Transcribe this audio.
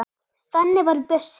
Þannig var Bjössi.